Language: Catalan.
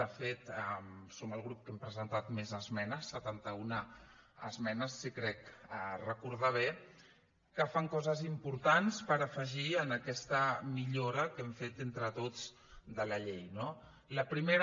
de fet som el grup que hem presentat més esmenes setanta una esmenes si crec recordar bé que fan coses importants per afegir en aquesta millora que hem fet entre tots de la llei no la primera